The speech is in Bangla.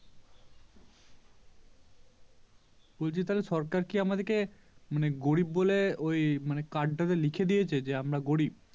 বলছি তাহলে সরকার কি আমাদিকে মানে গরিব বলে ওই মানে Card টা তে লিখে দিয়েছে যে আমরা গরিব